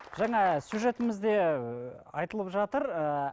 жаңа сюжетімізде айтылып жатыр ыыы